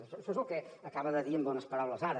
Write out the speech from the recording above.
això és lo que acaba de dir amb bones paraules ara